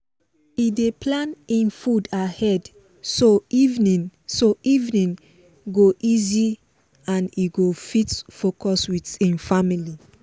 e dey plan hin food ahead so evening so evening go easy and e go fit focus with hin family